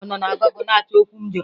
Ọ nọ na gụgle na-achọ okwu m jụrụ ya.